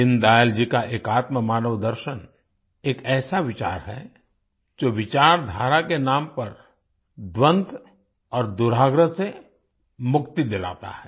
दीनदयाल जी का एकात्ममानवदर्शन एकऐसा विचार है जो विचारधारा के नाम पर द्वन्द्व और दुराग्रह से मुक्ति दिलाता है